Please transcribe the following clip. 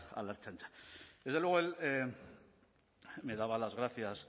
a la ertzaintza desde luego me daba las gracias